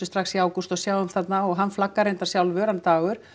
strax í ágúst og sjáum þarna og hann flaggar reyndar sjálfu hann Dagur